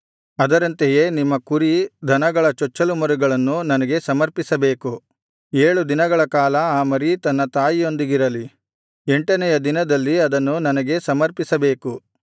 ಅದರಂತೆಯೇ ನಿಮ್ಮ ಕುರಿ ದನಗಳ ಚೊಚ್ಚಲು ಮರಿಗಳನ್ನು ನನಗೆ ಸಮರ್ಪಿಸಬೇಕು ಏಳು ದಿನಗಳ ಕಾಲ ಆ ಮರಿ ತನ್ನ ತಾಯಿಯೊಂದಿಗಿರಲಿ ಎಂಟನೆಯ ದಿನದಲ್ಲಿ ಅದನ್ನು ನನಗೆ ಸಮರ್ಪಿಸಬೇಕು